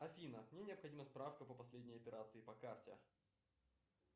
афина мне необходима справка по последней операции по карте